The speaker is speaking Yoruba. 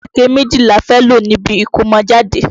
Ìréké méjì la fẹ́ lò níbi ìkómọjáde.